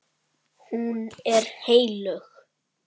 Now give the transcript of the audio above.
Hún er heilög.